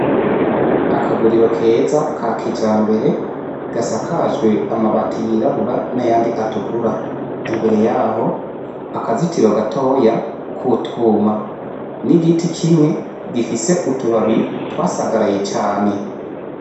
Akaguriro keza ka kijambere gasakajwe amabati yirabura n'ayandi atukura, imbere yaho akazitiro gatoya k'utwuma n'igiti kimwe gifise utubabi twasagaraye cane.